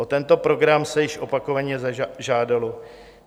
O tento program se již opakovaně žádalo.